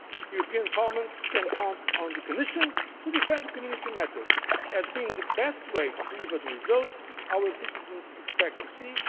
a reality. The European Parliament can count on the Commission to defend Community matters as being the best way to deliver the results our citizens expect